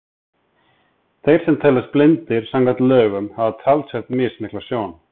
Þeir sem teljast blindir samkvæmt lögum hafa talsvert mismikla sjón.